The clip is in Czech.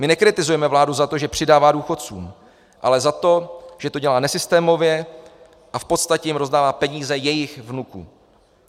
My nekritizujeme vládu za to, že přidává důchodcům, ale za to, že to dělá nesystémově a v podstatě jim rozdává peníze jejich vnuků.